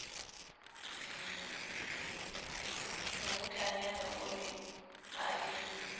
mmutlanyana o ne a le